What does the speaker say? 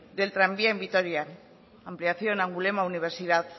del tranvía en vitoria ampliación angulema universidad